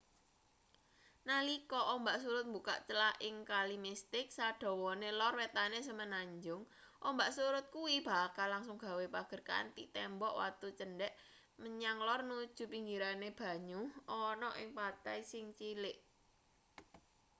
nalika ombak surut mbukak clah ing kali mistik sadawane lor wetane semenanjung ombak surut kuwi bakal langsung gawe pager kanthi tembok watu cendhek menyang lor nuju pinggirane banyu ana ing pantai sing cilik